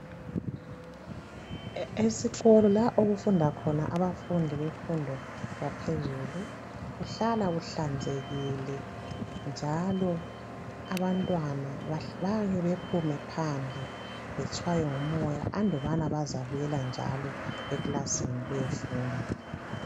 Esikolo la okufunda khona abafundi bemfundo yaphezulu kuhlala kuhlanzekile njalo abantwana bayake bephume phandle betshaywe ngumoya andubana bazabuyela njalo eklasini beyefunda